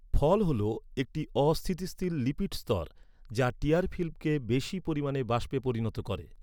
ফল হল, একটি অস্থিতিশীল লিপিড স্তর, যা টিয়ার ফিল্মকে বেশি পরিমাণে বাষ্পে পরিণত করে।